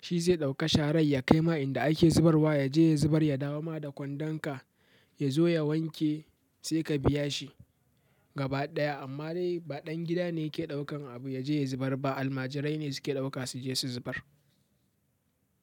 Shi zai ɗauka sharar ya kai ma inda ake zubarwa yaje ya zubar ya dawo ma da kwandon ka ya zo ya wanke sai ka biya shi gaba ɗaya. Amma dai ba ɗan gida ne yake ɗaukan abu ya je ya zubar ba. Almajirai ne suke ɗauka su je su zubar.